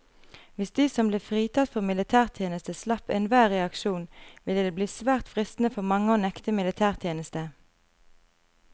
Hvis de som ble fritatt for militærtjeneste slapp enhver reaksjon, ville det bli svært fristende for mange å nekte militætjeneste.